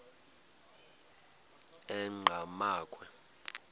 enqgamakhwe